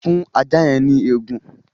Fún ajá yẹn ní egun!